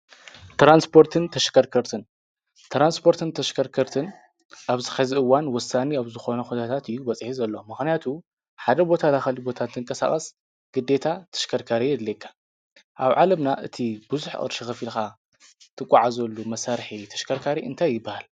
ትራንስፖርትን ተሽከርከርትን፦ ትራንስፖርትን ተሽከርከርትን አብዚ ኸዚ እዋን ወሳኒ ብዝኮነ ኩነታት እዩ በፂሑ ዘሎ። ምክንያቱ ሓደ ቦታ ናብ ካሊእ ቦታ እንትንንቃሳቀስ ግዴታ ተሽከርካሪ የድልየካ። አብ ዓለምና እቲ ቡዙሕ ቅርሺ ኸፊልካ እትጎዓዘሉ መሳርሒ ተሽከርካሪ እንታይ ይበሃል?